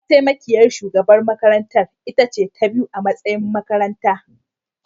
Mataimakiyar shugaban makarantar ita ce ta biyu a matsayi a makaranta